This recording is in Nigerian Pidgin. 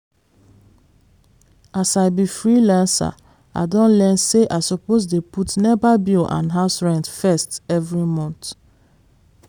as i be freelancer i don learn say i suppose dey put nepa bill and house rent first every month.